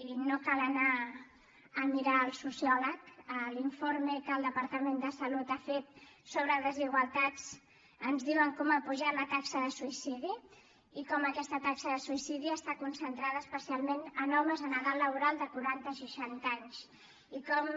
i no cal anar a mirar al sociòleg a l’informe que el departament de salut ha fet sobre desigualtats ens diuen com ha pujat la taxa de suïcidi i com aquesta taxa de suïcidi està concentrada especialment en homes en edat laboral de quaranta a seixanta anys i com